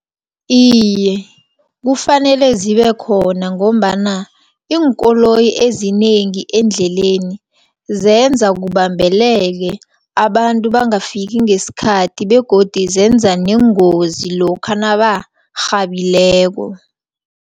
Iye, kufanele zibekhona, ngombana iinkoloyi ezinengi endleleni, zenza kubambeleke abantu bangafika ngesikhathi, begodi zenza neengozi lokha nabarhabileko.